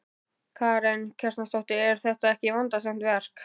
Karen Kjartansdóttir: Er þetta ekki vandasamt verk?